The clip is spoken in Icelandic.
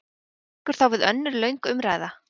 Tekur þá við önnur löng umræða?